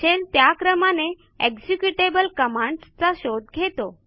shell त्या क्रमाने executable commandsचा शोध घेतो